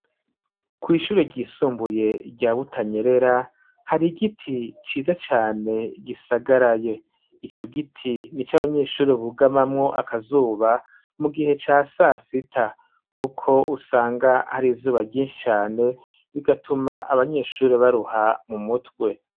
Kw'ishuri ryisumbuye rya Butanyerera hari igiti ciza cane gisagaraye ico giti nico abanyeshuri bugamamwo akazuba mu gihe ca saa sita kuko usanga hari izuba ryishi cane bigatuma abanyeshuri baruha mu mutwe.